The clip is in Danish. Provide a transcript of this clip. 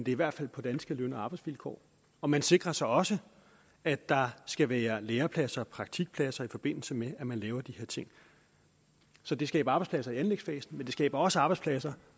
i hvert fald på danske løn og arbejdsvilkår og man sikrer sig også at der skal være lærepladser og praktikpladser i forbindelse med at man laver de her ting så det skaber arbejdspladser i anlægsfasen men det skaber også arbejdspladser